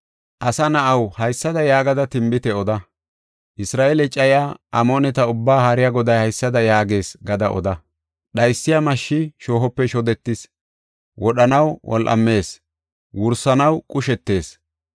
Asa na7aw, haysada yaagada tinbite oda. Isra7eele cayiya Amooneta Ubbaa Haariya Goday haysada yaagees gada oda. “Dhaysiya mashshi shoohope shodetis; wodhanaw wol7amees; wursanaw qushetees.